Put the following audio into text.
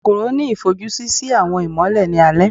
kòkorò ni ifojusi si awọn imọlẹ ni alẹ.